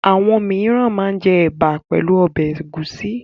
Àwọn mìíràn máa ń jẹ ẹ̀bà pẹ̀lú ọbẹ̀ ẹ̀gúsí.